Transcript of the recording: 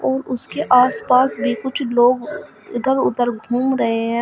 और उसके आसपास भी कुछ लोग इधर उधर घूम रहे हैं।